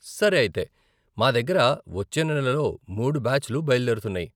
సరే అయితే. మా దగ్గర వచ్చే నెలలో మూడు బ్యాచ్లు బయలుదేరుతున్నాయి.